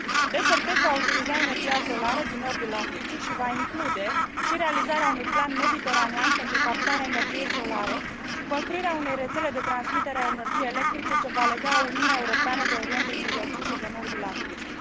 Desertec va utiliza energia solară din nordul Africii și va include și realizarea unui plan mediteranean pentru captarea energiei solare și construirea unei rețele de transmitere a energiei electrice ce va lega Uniunea Europeană de Orientul Mijlociu și de nordul Africii.